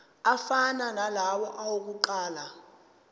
afana nalawo awokuqala